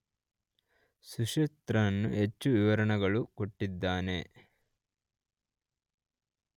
ಸುಶ್ರುತನು ಹೆಚ್ಚು ವಿವರಗಳನ್ನು ಕೊಟ್ಟಿದ್ದಾನೆ.